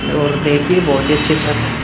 और देखिए बहोत अच्छी छत --